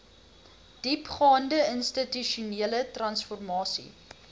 diepgaande institusionele transformasie